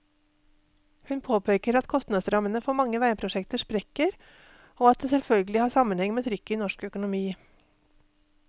Hun påpeker at kostnadsrammene for mange veiprosjekter sprekker, og at det selvfølgelig har sammenheng med trykket i norsk økonomi.